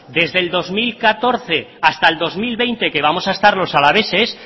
desde el dos mil catorce hasta el dos mil veinte que vamos a estar los alaveses